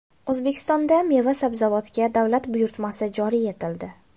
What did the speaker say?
O‘zbekistonda meva-sabzavotga davlat buyurtmasi joriy etildi .